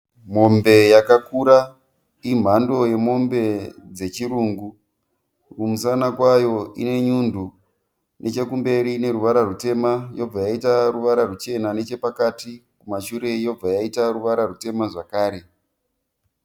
Mombe yakakura, imhando yemombe dzechirungu , kumusana kwayo ine nyundu, nechekumberi ine ruvara rwutema, yobva yaita ruvara rwuchena nechapakati, kumashure yobva yaita ruvara rwutema zvakare.